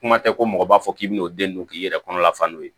Kuma tɛ ko mɔgɔ b'a fɔ k'i bɛ n'o den don k'i yɛrɛ kɔnɔ lafa n'o ye